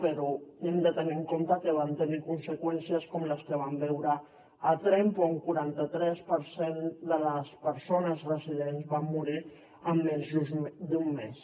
però hem de tenir en compte que van tenir conseqüències com les que vam veure a tremp on un quaranta tres per cent de les persones residents van morir en menys d’un mes